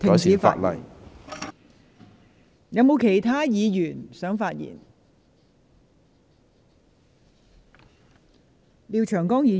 是否有其他議員想發言？